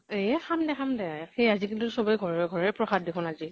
এহ খাম দে খাম দে। আজি কালি টো চবে ঘৰে ঘৰে প্ৰসাদ দেখুন আজি।